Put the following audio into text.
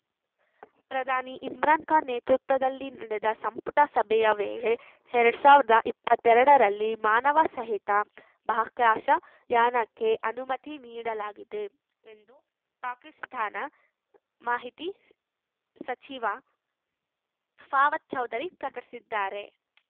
ಪ್ರಧಾನಿ ಇಮ್ರಾನ್‌ಖಾನ್‌ ನೇತೃತ್ವದಲ್ಲಿ ನಡೆದ ಸಂಪುಟ ಸಭೆಯ ವೇಳೆ ಎರಡ್ ಸಾವಿರದ ಇಪ್ಪತ್ತೆರಡರಲ್ಲಿ ಮಾನವ ಸಹಿತ ಬಾಕಾಶ್ಯಾ ಯಾನಕ್ಕೆ ಅನುಮತಿ ನೀಡಲಾಗಿದೆ ಎಂದು ಪಾಕಿಸ್ತಾನ ಮಾಹಿತಿ ಸಚಿವ ಫವಾದ್‌ ಚೌಧರಿ ಪ್ರಕಟಿಸಿದ್ದಾರೆ